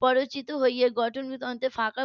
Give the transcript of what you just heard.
প্ররোচিত হয়ে . ফাঁকা